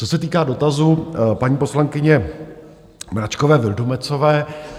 Co se týká dotazů paní poslankyně Mračkové Vildumetzové.